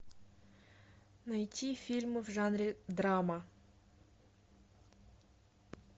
найти фильмы в жанре драма